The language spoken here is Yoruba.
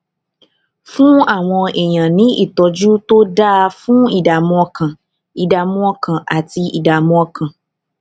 fún àwọn èèyàn ní ìtójú tó dáa fún ìdààmú ọkàn ìdààmú ọkàn àti ìdààmú ọkàn